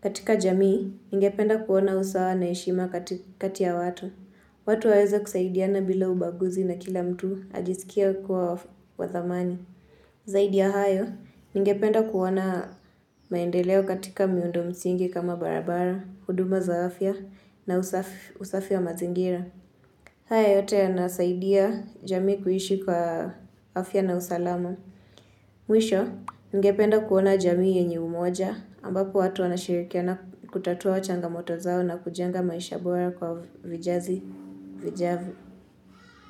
Katika jamii, ninge penda kuona usawa na heshima kati ya watu. Watu waweza kusaidiana bila ubaguzi na kila mtu ajisikia kuwa wathamani. Zaidia hayo, ninge penda kuona maendeleo katika miundo msingi kama barabara, huduma za afya na usafi wa mazingira. Haya yote ya nasaidia jamii kuhishi kwa afya na usalama. Mwisho, ningependa kuona jamii yenye umoja ambako watu wanashirikia na kutatua changa moto zao na kujenga maisha bora kwa vijazi, vijavyo.